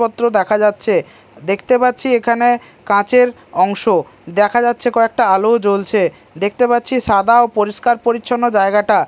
পত্র দেখা যাচ্ছে দেখতে পাচ্ছি এখানে কাচের অংশ দেখা যাচ্ছে কয়েকটা আলোও জ্বলছে দেখতে পাচ্ছি সাদা ও পরিষ্কার পরিচ্ছন্ন জায়গাটা।